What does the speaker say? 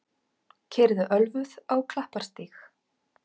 Keyrði ölvuð á Klapparstíg